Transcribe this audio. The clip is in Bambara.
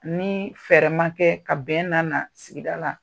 Ni fɛɛrɛ ma kɛ, ka bɛn lana sigida la.